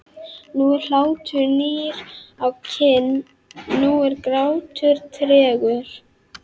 Nú er hlátur nýr á kinn, nú er grátur tregur.